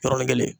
Yɔrɔnin kelen